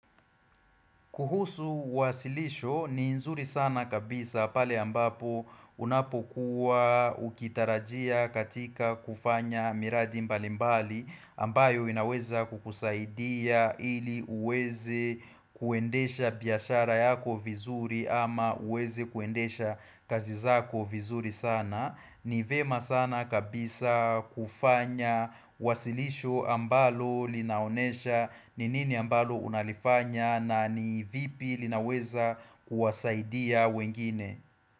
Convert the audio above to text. Kuhusu wasilisho ni nzuri sana kabisa pale ambapo unapokuwa ukitarajia katika kufanya miradi mbalimbali ambayo inaweza kukusaidia ili uweze kuendesha biashara yako vizuri ama uweze kuendesha kazi zako vizuri sana. Ni vyema sana kabisa kufanya wasilisho ambalo linaonesha ni nini ambalo unalifanya na ni vipi linaweza kuwasaidia wengine.